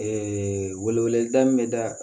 wele weleda min bɛ da